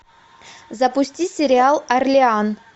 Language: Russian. запусти сериал орлеан